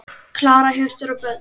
Klara, Hjörtur og börn.